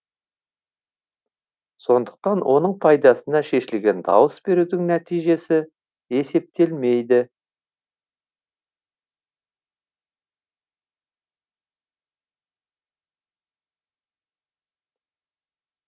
сондықтан оның пайдасына шешілген дауыс берудің нәтижесі есептелмейді